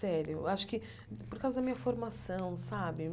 Sério, acho que por causa da minha formação, sabe?